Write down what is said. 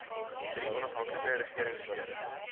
drie onafhanklike regeringsfere